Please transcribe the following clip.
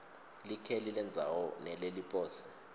likheli lendzawo neleliposi